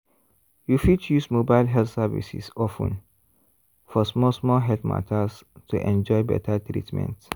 you fit use mobile health services of ten for small small health matters to enjoy better treatment.